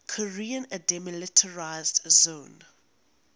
korean demilitarized zone